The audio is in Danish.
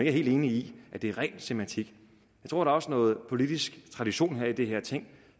er helt enige i at det er ren semantik jeg tror også noget politisk tradition her i det her ting